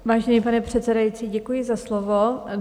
Vážený pane předsedající, děkuji za slovo.